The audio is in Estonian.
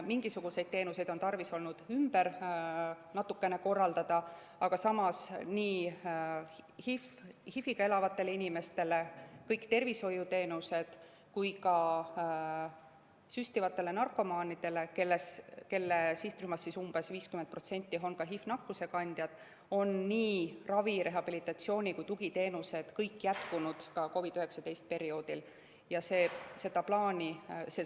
Mingisuguseid teenuseid on olnud tarvis natukene ümber korraldada, aga samas nii HIV‑iga elavatele inimestele kui ka süstivatele narkomaanidele, kelle sihtrühmast umbes 50% on ka HIV-nakkuse kandjad, on ravi‑, rehabilitatsiooni‑ ja tugiteenused kõik jätkunud ka COVID‑19 perioodil.